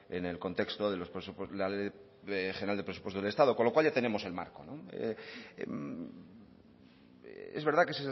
en el contexto de la ley de presupuestos generales del estado con lo cual ya tenemos el marco es verdad que